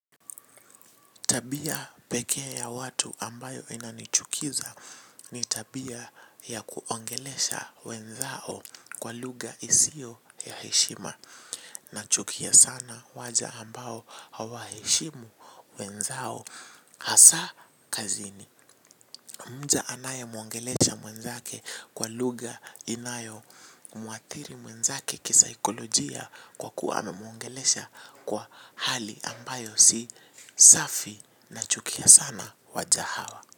Tabia pekee ya watu ambayo inanichukiza ni tabia ya kuongelesha wenzao kwa lugha isiyo ya heshima. Nachukia sana waja ambao hawaheshimu wenzao hasa kazini. Mja anayemwongelesha mwenzake kwa lugha inayomuathiri mwenzake kisaikolojia kwa kuwa namwongelesha kwa hali ambayo si safi nachukia sana waja hawa.